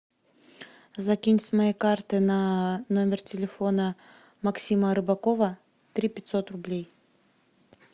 закинь с моей карты на номер телефона максима арбакова три пятьсот рублей